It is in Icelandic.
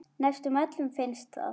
Næstum öllum finnst það.